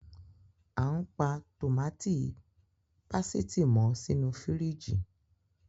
Àn pa Tómatí pasiti mọ sinu fíríjì.